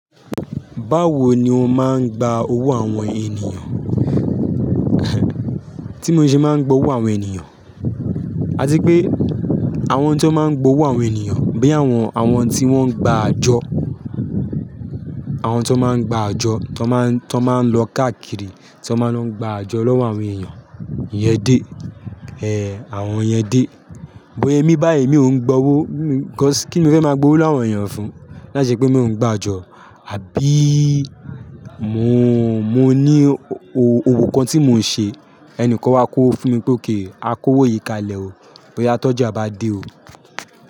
Báwo ni o máa ń gba owó àwọn ènìyàn? Tí mo ṣe máa ń gbowó àwọn ènìyàn, à ti pé àwọn tí wón máa ń gbowó àwọn ènìyàn, bíi àwọn, àwọn tí wón gba àjọ, àwọn tí wón máa gba àjọ, tí wón máa, tí wón máa lọ káàkiri, tí wón máa lọ gba àjọ lọ́wọ́ àwọn èèyàn. Iyẹn day, eh, àwọn yẹn day. But emi báyìí mi ò ń gba owó, 'cause kíni mo fẹ́ máa gbowó lowo áwọn èèyàn fún? Láì ṣe pé mi ò ń gba àjọ, àbí mo, mo ní o-owo kan tí mò ń ṣe, ẹni kan wá kówó fún mi pé okay, a kó owó yìí kalẹ̀ o. Boya tọ́ja bá dé o.